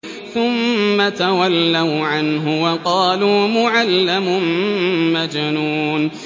ثُمَّ تَوَلَّوْا عَنْهُ وَقَالُوا مُعَلَّمٌ مَّجْنُونٌ